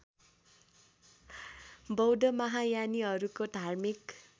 बौद्ध महायानीहरूको धार्मिक